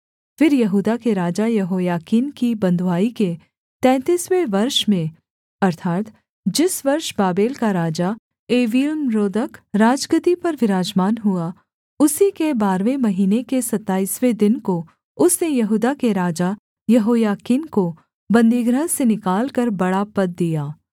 फिर यहूदा के राजा यहोयाकीन की बँधुआई के तैंतीसवें वर्ष में अर्थात् जिस वर्ष बाबेल का राजा एवील्मरोदक राजगद्दी पर विराजमान हुआ उसी के बारहवें महीने के सताईसवें दिन को उसने यहूदा के राजा यहोयाकीन को बन्दीगृह से निकालकर बड़ा पद दिया